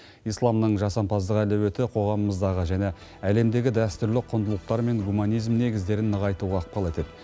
исламның жасампаздық әлеуеті қоғамымыздағы және әлемдегі дәстүрлі құндылықтар мен гуманизм негіздерін нығайтуға ықпал етеді